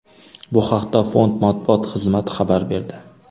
Bu haqda Fond matbuot xizmati xabar berdi .